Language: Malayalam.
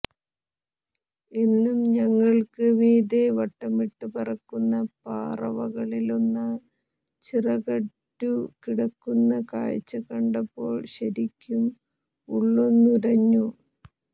എന്നും ഞങ്ങൾക്ക് മീതെ വട്ടമിട്ടു പറക്കുന്ന പറവകളിലൊന്ന് ചിറകറ്റു കിടക്കുന്ന കാഴ്ച കണ്ടപ്പോൾ ശരിക്കും ഉള്ളൊന്നുലഞ്ഞു